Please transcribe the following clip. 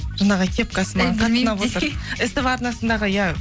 жаңағы кепкасы маған қатты ұнап отыр ств арнасындағы иә